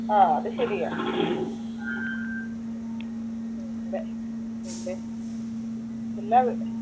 ആഹ് അത് ശെര്യാ എന്ന